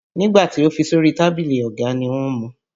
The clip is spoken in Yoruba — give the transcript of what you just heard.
Nígbà tí o fi sórí tábìlì ọ̀gá ni wọ́n mu.